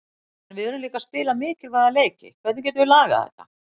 En við erum líka að spila mikilvæga leiki, hvernig getum við lagað þetta?